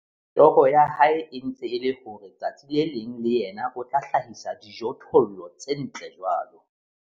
Toro ya hae e ntse e le hore tsatsi le leng le yena o tla hlahisa dijothollo tse ntle jwalo.